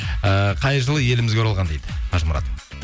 ііі қай жылы елімізге оралған дейді қажымұрат